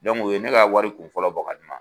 u ye ne ka wari kunfɔlɔ bɔ ka di yan